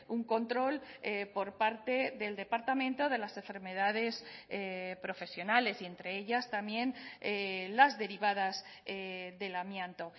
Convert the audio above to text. un control por parte del departamento de las enfermedades profesionales y entre ellas también las derivadas del amianto